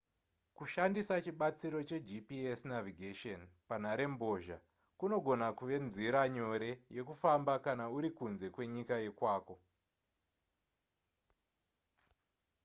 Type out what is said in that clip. kushandisa chibatsiro chegps navigation panharembozha kunogona kuve nzira nyore yekufamba kana uri kunze kwenyika yekwako